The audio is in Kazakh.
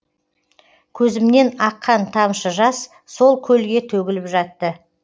көзімнен аққан тамшы жас сол көлге төгіліп жатты